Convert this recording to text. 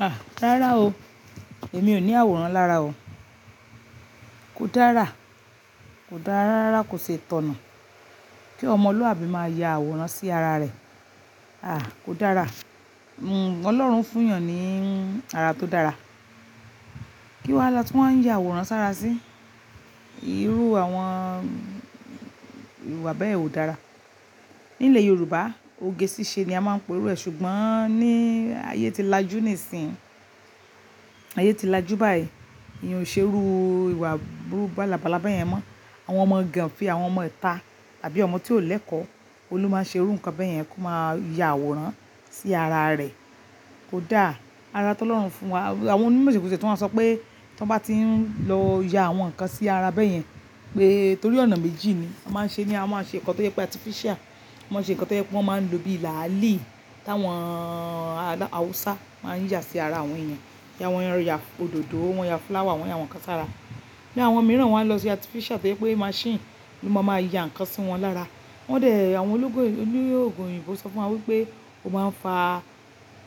Ah! Rárá o, èmi ò ní àwòrán lára o. Kò dára, kò dárárá kò sì tọ̀nà kí ọmọ luhàbí máa ya àwòrán sí ara rẹ̀. Ah kò dára. Ọlọ́run fún èèyàn ní ara tó dára. Kí wá la tí wọ́n ń ya àwòrán sára sí? Irú àwọn ìwà bẹ́ẹ̀ ò dára. Ní ilẹ̀ Yorùbá ogé ṣíṣe ni a máa ń pè irú ẹ, ṣùgbọ́n ní ayé tí lajú nísìínyi, ayé tí lajú báyìí, ìyàn o ṣé irú ìwà burúkú balábála bayẹn mọ́. Àwọn ọmọ ganfe àwọn ọmọ ìta tàbí ọmọ tí ò lẹ́kọ̀ọ́, òun ló máa ń ṣe irú nǹkan bẹ́ẹ̀ yẹn kó máa ya àwòrán sí ara rẹ̀. Kò da. Ara tó Ọlọ́run fún wa, àwọn onímọ̀ ìṣègùn tìẹ tún wa sọ pé tí wọ́n bá tí ń lọ ya àwọn nǹkan sí ara bẹ́ẹ̀ yẹn pé torí ọ̀nà méjì ni a máa ń ṣe ni. A máa ń ṣe nǹkan tó yẹ pé artificial, a máa ń ṣe nǹkan tó yẹ pé wọ́n máa ń lò bí làálì táwọn Awúsá máa ń yà sí ara àwọn èèyàn. Ya àwọn ẹran, ya òdòdó, wọ́n ya flower, wọ́n ya àwọn nǹkan sára. Bí àwọn mìíràn wọ́n a lọ sí artificial tó yẹ pé machine ló máa ma ya nǹkan sí wọn lára. Wọ́n dè ẹ, àwọn ológun òyìnbó sọ fún wa wípé ó máa ń fa